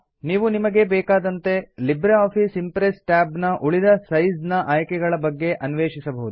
ನೀವು ನಿಮಗೆ ಬೇಕಾದಂತೆ ಲಿಬ್ರೆ ಆಫೀಸ್ ಇಂಪ್ರೆಸ್ ಟ್ಯಾಬ್ ನ ಉಳಿದ ಸೈಜ್ ನ ಆಯ್ಕೆಗಳ ಬಗ್ಗೆ ಅನ್ವೇಷಿಸಬಹುದು